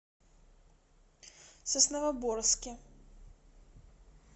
сосновоборске